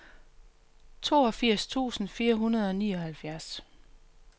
toogfirs tusind fire hundrede og nioghalvfjerds